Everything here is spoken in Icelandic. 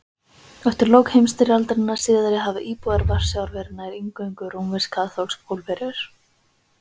Eftir lok heimstyrjaldarinnar síðari hafa íbúar Varsjár verið nær eingöngu rómversk-kaþólskir Pólverjar.